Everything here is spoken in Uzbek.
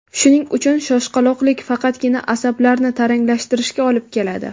Shuning uchun shoshqaloqlik faqatgina asablarni taranglashtirishga olib keladi.